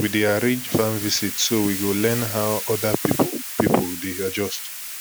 we dey arrange farm visit so we fit learn how other pipu pipu dey adjust